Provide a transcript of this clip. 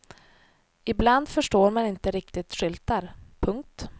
Ibland förstår man inte riktigt skyltar. punkt